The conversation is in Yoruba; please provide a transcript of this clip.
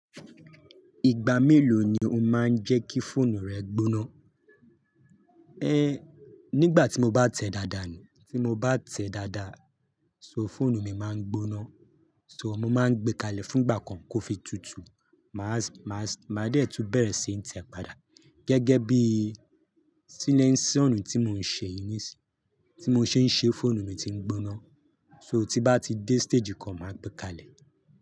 Ìgbà mélòó ni o máa ń jẹ́ kí fóònù rẹ gbóná? É nígbà tí mo bá tẹ dáadáa ni, tí mo bá tẹ dáadáa, so fóònù mi máa ń gbóná. So mo máa ń gbé kalẹ̀ fún gbà kan kó fi tutù, màá, màá, màá dẹ̀ tún bẹ̀rẹ̀ síí n te padà. Gẹ́gẹ́ bíi síléńsì o ni tí mò ń ṣe yìí ní sì, tí mo ṣe ń ṣe fóònù mi ti ń gbóná. So tí n bá ti dé stage kan, màá gbé kalẹ̀.